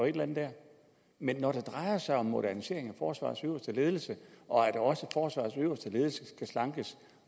eller andet dér men når det drejer sig om en modernisering af forsvarets øverste ledelse og at også forsvarets øverste ledelse skal slankes